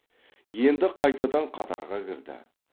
енді қайтадан қатарға кірді